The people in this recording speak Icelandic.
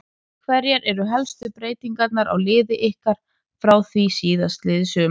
Hverjar eru helstu breytingar á liði ykkar frá því síðastliðið sumar?